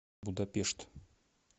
будапешт